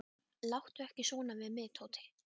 Láttu ekki svona við mig, Tóti.